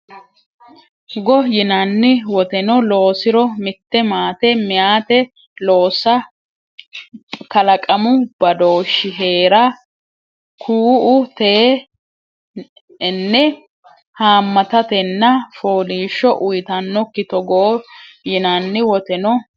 go yinanni woteno loosiro mitte maate meyate loossa kalaqamu badooshshi hee ra ku u te enne haammatatenna fooliishsho uytannokkite Togo yinanni woteno.